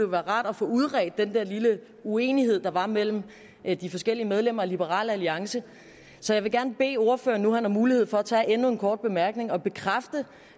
være rart at få udredt den der lille uenighed der var mellem de forskellige medlemmer af liberal alliance så jeg vil gerne bede ordføreren nu han har mulighed for at tage endnu en kort bemærkning om at bekræfte